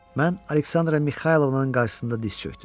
Mən Aleksandra Mixaylovanın qarşısında diz çökdüm.